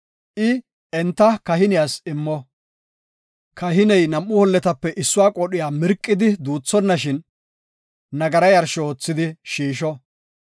I enta kahiniyas immo; kahiney nam7u holletape issuwa qoodhiya mirqidi duuthonnashin, nagara yarsho oothidi shiisho.